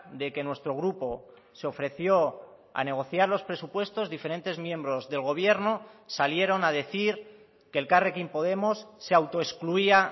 de que nuestro grupo se ofreció a negociar los presupuestos diferentes miembros del gobierno salieron a decir que elkarrekin podemos se autoexcluía